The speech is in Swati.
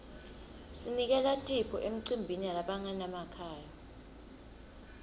sinikela tipho emicimbini yalabangenamakhaya